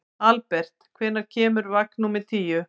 Albert, hvenær kemur vagn númer tíu?